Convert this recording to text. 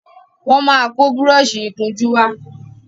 wón má kó Búrọ́ọ̀ṣì ìkunjú wá.